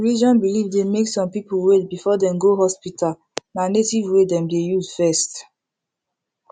religion belief dey make some people wait before dem go hospital na native way dem dey use first